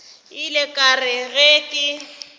ile ka re ge ke